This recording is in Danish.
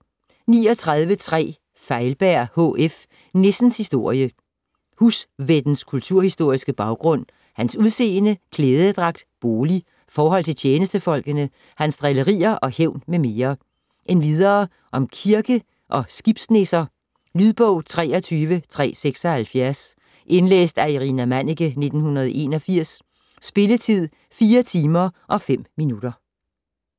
39.3 Feilberg, H. F.: Nissens historie Husvættens kulturhistoriske baggrund, hans udseende, klædedragt, bolig, forhold til tjenestefolkene, hans drillerier og hævn m. m. Endvidere om kirke- og skibsnisser. Lydbog 23376 Indlæst af Irina Manniche, 1981. Spilletid: 4 timer, 5 minutter.